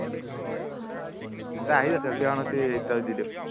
যা আহি যা selfie এখন উঠি story ত দি দিও